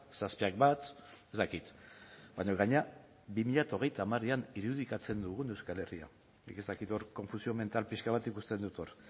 zazpiak bat ez dakit baina gainera bi mila hogeita hamarean irudikatzen dugun euskal herria nik ez dakit hor confusión mental pixka bat ikusten dut hor